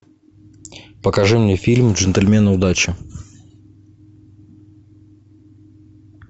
покажи мне фильм джентльмены удачи